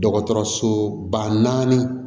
Dɔgɔtɔrɔsoba naani